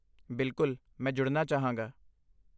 ਬਿਲਕੁਲ, ਮੈਂ ਜੁੜਨਾ ਚਾਹਾਂਗਾ।